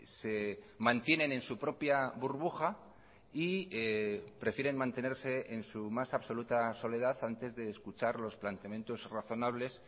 se mantienen en su propia burbuja y prefieren mantenerse en su más absoluta soledad antes de escuchar los planteamientos razonables